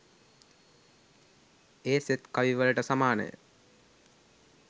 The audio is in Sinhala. ඒ සෙත් කවිවවලට සමානය